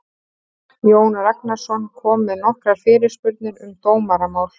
Jón Ragnarsson kom með nokkrar fyrirspurnir um dómaramál.